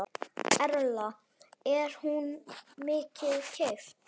Erla: Er hún mikið keypt?